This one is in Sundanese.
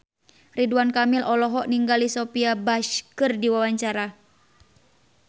Ridwan Kamil olohok ningali Sophia Bush keur diwawancara